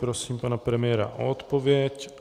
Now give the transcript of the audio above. Prosím pana premiéra o odpověď.